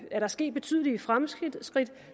er der sket betydelige fremskridt